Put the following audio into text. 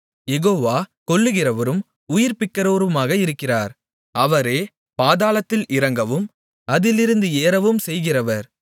யெகோவா கொல்லுகிறவரும் உயிர்ப்பிக்கிறவருமாக இருக்கிறார் அவரே பாதாளத்தில் இறங்கவும் அதிலிருந்து ஏறவும்செய்கிறவர்